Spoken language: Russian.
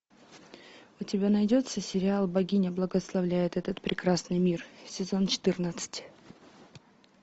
у тебя найдется сериал богиня благославляет этот прекрасный мир сезон четырнадцать